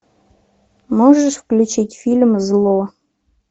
можешь включить фильм зло